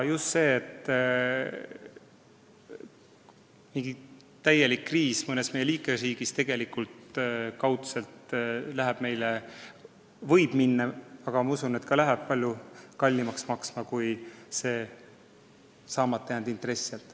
On selge, et kriis mõnes liikmesriigis võib kokkuvõttes minna palju kallimaks maksma kui saamata jäänud intress.